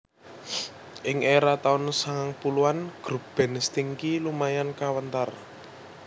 Ing era taun sangang puluhan grup band Stinky lumayan kawentar